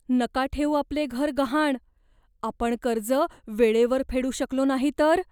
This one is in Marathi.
नका ठेवू आपले घर गहाण. आपण कर्ज वेळेवर फेडू शकलो नाही तर?